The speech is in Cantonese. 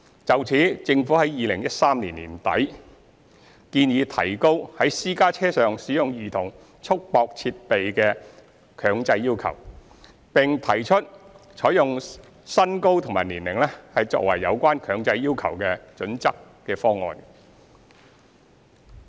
就此，政府在2013年年底建議提高強制在私家車上使用兒童束縛設備的要求，並提出採用身高和年齡作為有關強制要求的準則的方案。